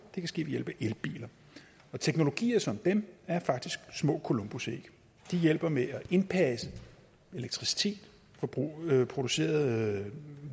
kan ske ved hjælp af elbiler og teknologier som dem er faktisk små columbusæg de hjælper med at indpasse elektricitet produceret